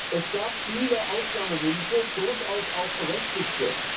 sollen. Es gab viele Ausnahmewünsche, durchaus auch berechtigte.